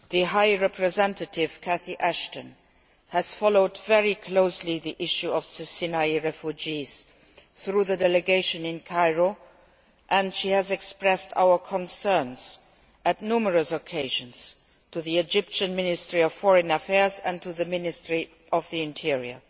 High Representative Ashton has followed very closely the issue of the Sinai refugees through the delegation in Cairo and she has expressed our concerns on numerous occasions to the Egyptian Ministry of Foreign Affairs and to the Ministry of the Interior.